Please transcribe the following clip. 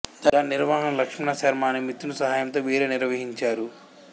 దాని నిర్వహణ లక్షణ శర్మ అనే మితృని సహాయంతో వీరే నిర్వహించారు